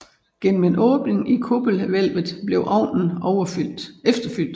Gennem en anden åbning i kuppelhvælvet blev ovnen efterfyldt